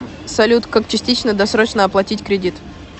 салют как частично досрочно оплатить кредит